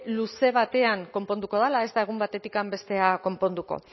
luze batean konponduko dela ez da egun batetikan bestera konponduko